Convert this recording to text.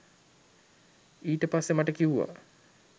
ඊට පස්සේ මට කිව්වා